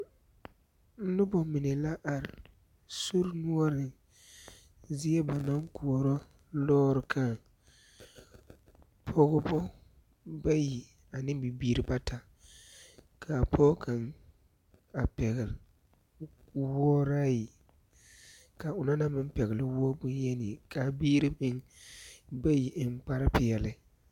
Noba mine la are sori noɔreŋ zie ba naŋ koɔrɔ lɔɔre kãã. Pɔgebɔ bayi ane bibiiri bata. Kaa pɔge kaŋ a pɛgele wooraayi, ka o na na meŋ pɛgele woɔ bonyeni. Kaa biiri meŋ bayi eŋ kparre peɛle.